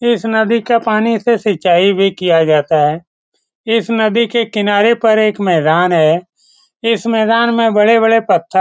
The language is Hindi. इस नदी के पानी से सिंचाई भी किया जाता है इस नदी के किनारे पर एक मैदान है इस मैदान में बड़े-बड़े पत्थर --